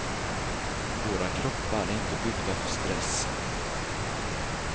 Våra kroppar är inte byggda för stress.